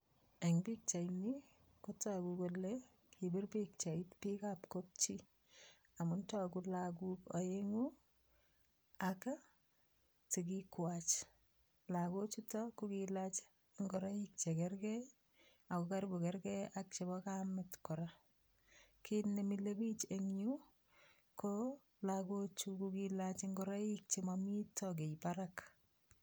Eng pikchaini ko toku kole kipir pikchait piikab kap chi amun toku lagok aengu ak sikikwach. Lagochuta kokelach ngoroik che kerker ak ko karibu kerker ak chebo kamet kora, kiit ne mile pich eng yu ko lagochu kokelachi ngoroik chemamito kiy barak.